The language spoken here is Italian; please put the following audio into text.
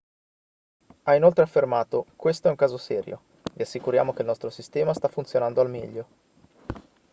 ha inoltre affermato questo è un caso serio vi assicuriamo che il nostro sistema sta funzionando al meglio